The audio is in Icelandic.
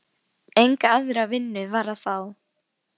Enga aðra vinnu var að fá.